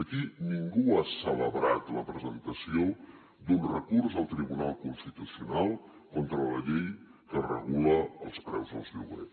aquí ningú ha celebrat la presentació d’un recurs al tribunal constitucional contra la llei que regula els preus dels lloguers